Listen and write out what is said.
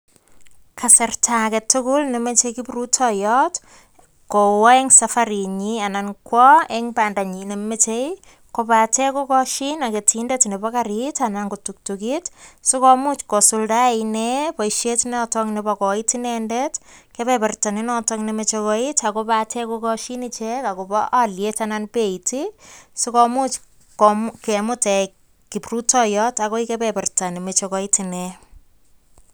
Kasarta age tugul nemeche kiprutoiyot kowo eng safarinyin anan kwo eng bandanyin nemochei kobate kokashin ak ketindet nebo kariit anan tuktukit sikomuch kosuldae inee boishet noto nebo koiit inendet kebeberta nenoto nemoche koit akobate kokoshin ichek akobo aliyet anan beit sikomuch kemut kiprutoiyot akoi kebeberta nemeche koit inee.